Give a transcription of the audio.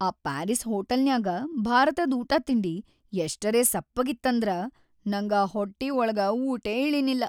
ಆ ಪಾರೀಸ್‌ ಹೋಟಲ್ನ್ಯಾಗ ಭಾರತದ್‌ ಊಟಾತಿಂಡಿ ಎಷ್ಟರೇ ಸಪ್ಪಗಿತ್ತಂದ್ರ ನಂಗ ಹೊಟ್ಟಿ ಒಳಗ ಊಟೇ ಇಳಿನಿಲ್ಲ.